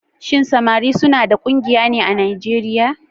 Shin samari suna da ƙungiya ne a Nijeriya?